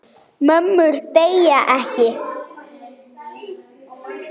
Mömmur deyja ekki.